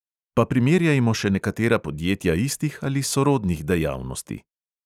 Pa primerjajmo še nekatera podjetja istih ali sorodnih dejavnosti.